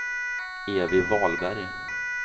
Evy Wahlberg